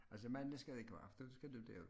Altså mandag skal det ikke være for der skal du derud